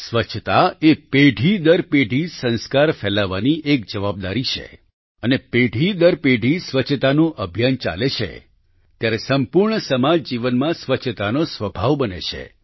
સ્વચ્છતા એ પેઢી દર પેઢી સંસ્કાર ફેલાવવાની એક જવાબદારી છે અને પેઢી દર પેઢી સ્વચ્છતાનું અભિયાન ચાલે છે ત્યારે સંપૂર્ણ સમાજજીવનમાં સ્વચ્છતાનો સ્વભાવ બને છે